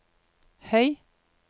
høy